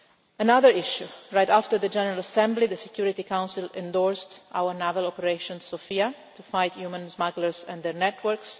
Another issue right after the General Assembly, the Security Council endorsed our naval Operation Sophia to fight people smugglers and their networks.